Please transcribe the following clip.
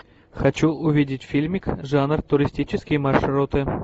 хочу увидеть фильмик жанр туристические маршруты